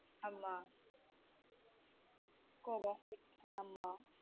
ஆம கோபம ஆமா.